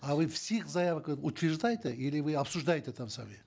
а вы все заявки утверждаете или вы обсуждаете там сами